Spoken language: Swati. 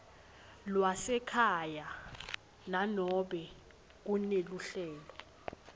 lwasekhaya nanobe kuneluhlelo